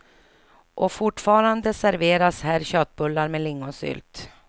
Och fortfarande serveras här köttbullar med lingonsylt.